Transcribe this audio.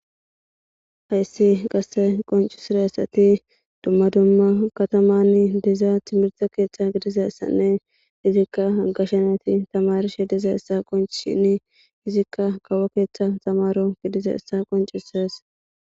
Hayssi qasse qoncusirassati dumma dumma katamanni dizaa timirta keeththa gidizeyssanne izikka gashanati tamarishe diza essa qonchshini izikka kawo keeththa tamaro gidizessa qoncuses